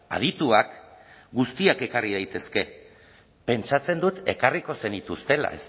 adituak guztiak ekarri daitezke pentsatzen dut ekarriko zenituztela